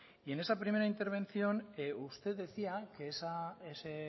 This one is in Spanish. y en esa primera intervención usted decía que ese